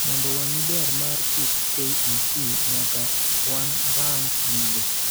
Mondo wang'ii ber mar gik KEC nyaka wanrang gigo.